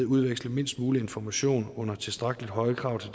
udveksle mindst mulig information under tilstrækkelig høje krav til